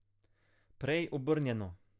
Prej obrnjeno.